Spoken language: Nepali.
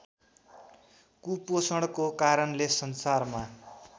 कुपोषणको कारणले संसारमा